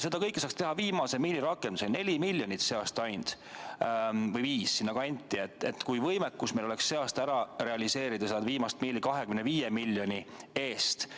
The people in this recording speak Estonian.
Seda kõike saaks teha viimase miili rakendusega – neli miljonit sel aastal ainult või viis, sinna kanti –, kui võimekus meil oleks sel aastal ära realiseerida viimast miili 25 miljoni eest.